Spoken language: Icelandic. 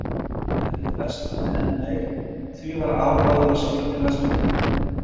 Veðrið versnaði enn meir og því var afráðið að sigla til Vestmannaeyja.